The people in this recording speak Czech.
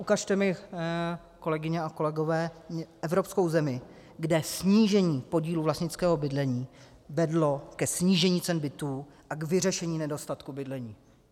Ukažte mi, kolegyně a kolegové, evropskou zemi, kde snížení podílu vlastnického bydlení vedlo ke snížení cen bytů a k vyřešení nedostatku bydlení.